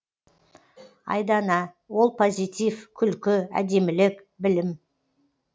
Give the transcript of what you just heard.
айдана ол позитив күлкі әдемілік білім